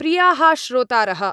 प्रियाः श्रोतारः !